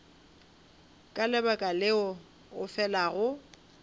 ka lebaka leo o felago